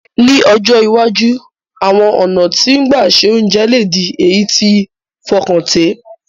Ní ọjọ́ iwájú, àwon ọ̀nà ti gbà se ounje le di èyí ti fọkàntẹ̀